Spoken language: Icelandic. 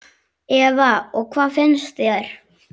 Eva: Og hvað finnst þér?